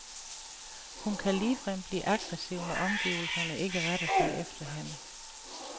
Hun kan ligefrem blive aggressiv, når omgivelserne ikke retter sig efter hende.